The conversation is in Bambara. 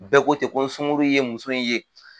Bɛɛ ko ten ko n sunkuru ye muso in ye